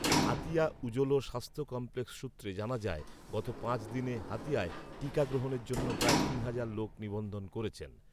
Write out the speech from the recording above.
হাতিয়া উজলো স্বাস্থ্য কমপ্লেক্স সূত্রে জানা যায় গত পাঁচ দিনে হাতিয়ায় টিকা গ্রহণের জন্য প্রায় তিন হাজার লোক নিবন্ধন করেছেন